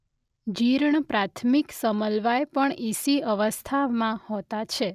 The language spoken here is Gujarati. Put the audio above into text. જીર્ણ પ્રાથમિક સમલવાય પણ ઇસી અવસ્થામાં હોય છે.